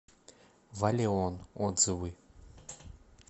валеон отзывы